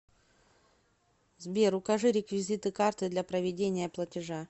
сбер укажи реквизиты карты для проведения платежа